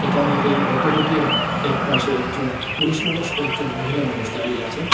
একানে এই অটোদুটির একপাশে একজন পুরুষ মানুষ একজন মহিলা মানুষ দাঁড়িয়ে আছেন।